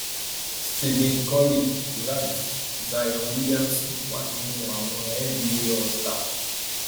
stephen curry durant zion williamson wà nínú àwọn nba allstar